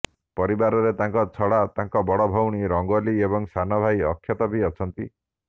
ପରିବାରରେ ତାଙ୍କ ଛଡା ତାଙ୍କ ବଡ ଭଉଣୀ ରଙ୍ଗୋଲୀ ଏବଂ ସାନ ଭାଇ ଅକ୍ଷତ ବି ଅଛନ୍ତି